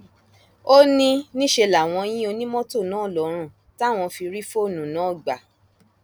ó ní níṣẹ làwọn yin onímọtò náà lọrùn táwọn fi rí fóònù náà gbà